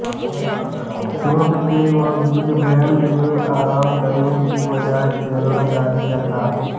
चोट के बावजूद ब्रायंट ने आराम करने की बजाय खेलना जारी रखा